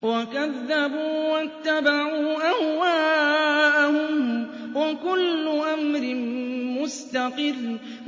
وَكَذَّبُوا وَاتَّبَعُوا أَهْوَاءَهُمْ ۚ وَكُلُّ أَمْرٍ مُّسْتَقِرٌّ